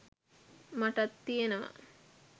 මටත් තියෙනවා.